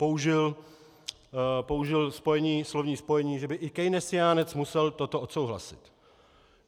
Použil slovní spojení, že by i keynesiánec musel toto odsouhlasit.